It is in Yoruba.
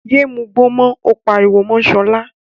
Yéé mugbó mọ́! ó pariwo mọ́ Sọlá.